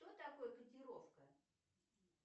кто такой котировка